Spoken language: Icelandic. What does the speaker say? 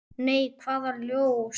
Nei, hvaða ljós?